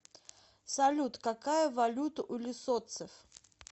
салют какая валюта у лесотцев